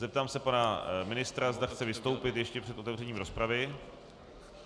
Zeptám se pana ministra, zda chce vystoupit ještě před otevřením rozpravy.